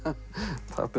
pabbi